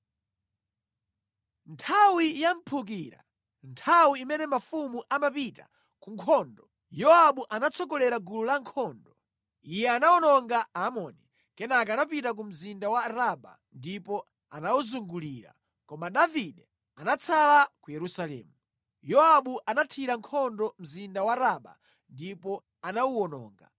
Nthawi ya mphukira, nthawi imene mafumu amapita ku nkhondo, Yowabu anatsogolera gulu la ankhondo. Iye anawononga Aamoni, kenaka anapita ku mzinda wa Raba ndipo anawuzungulira, koma Davide anatsala ku Yerusalemu. Yowabu anathira nkhondo mzinda wa Raba ndipo anawuwononga.